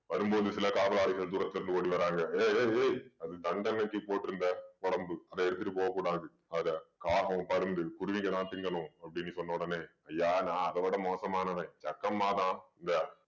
வரும்போது சில காவலாளிகள் தூரத்துல இருந்து ஓடி வர்றாங்க ஏய் ஏய் ஏய் அது தண்டனைக்கு போட்டிருந்த உடம்பு அத எடுத்துட்டு போகக் கூடாது அத காகம், பருந்து, குருவிகெல்லாம் திங்கணும் அப்படின்னு சொன்ன உடனே ஐயா நான் அதவிட மோசமானவன் ஜக்கம்மாதான் இந்த